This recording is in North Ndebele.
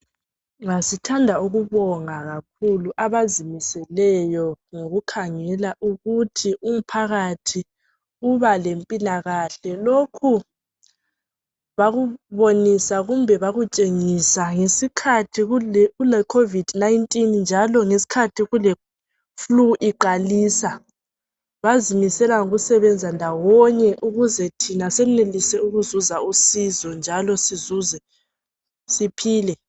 Sithanda ukubonga kakhulu abazimiseleyo ngokukhangela ukuthi umphakathi uba lempilakahle. Lokhu bakubonisa ngesikhathi kuleCovid 19 njalo ngesikhathi kuleflue iqalisa bazimisela ngokusebenza ndawonye ukuze thina senelise ukuzuza usizo njalo siphile.